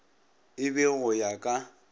e be go ya ka